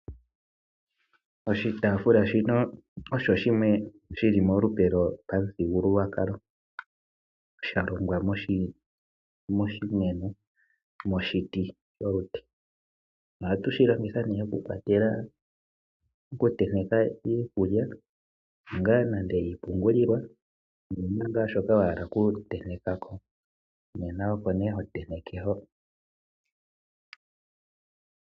Oshitafula shino osho shimwe shili molupe lopamuthigululwakalo shalongwa moshimeno nenge moshiti sholute. Ohatu shi longitha ne okukwatela ,okuteneka iikulya nande ngaa iipungulilwa nenge wuna ngaa shoka wa hala okutentekako oko ngaa hotenteke hoka.